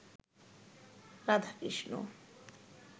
Radhakrishna